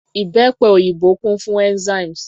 Ìbẹ́pe òyìnbó kún fún enzymes.